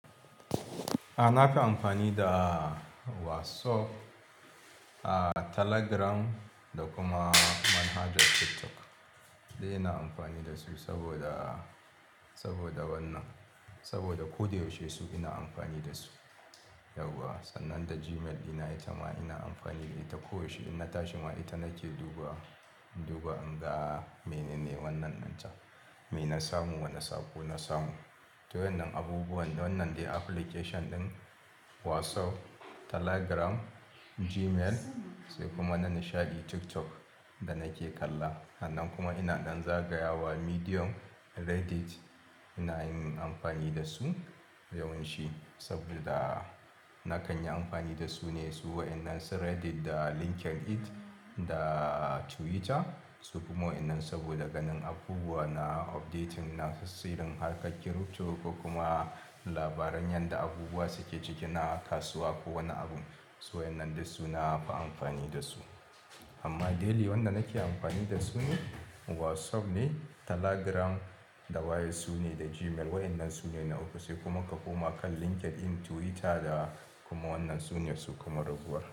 A, na fi amfani da WhatsApp, Telegram da kuma manhajar TikTok. Duk ina amfani da su saboda, saboda wannan, saboda ko da yaushe su ina amfani da su. Yauwa, sannan da Gmail ɗina ita ma ina amfani da ita koyaushe. Inna tashi ma ita nake duba, in duba in ga menene wannan ɗinta, me na samu, wane saƙo na samu. To wa'innan abubuwan, wannan dai application ɗin WhatsApp, Telegram, Gmail sai kuma na nishaɗi TikTok da nake kalla. Sannan kuma ina ɗan zagaya wa Medium, Reddit, ina yin amfani da su, yawanci, saboda na kan yi amfani da su ne, su wa'innan su Reddit da LinkedIn da Twitter, su kuma wa'innan saboda ganin abubuwa na updating na sirrin harkar kiripto ko kuma labaran yadda abubuwa suke ciki na kasuwa ko wani abun. To wa'innan duk su na fi amfani da su. Amma daily wanda nake amfani da su ne WhatsApp ne, Telegram da waye su ne da Gmail. Wa'innan su ne na uku, sai kuma ka koma kan LinkedIn, Twitter da kuma wannan su ne su kuma ragowar.